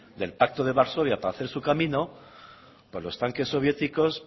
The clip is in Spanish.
del pacto de varsovia para hacer su camino pues los tanques soviéticos